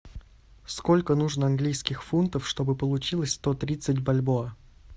сколько нужно английских фунтов чтобы получилось сто тридцать бальбоа